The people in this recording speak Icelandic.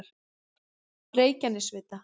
Reykjanesvita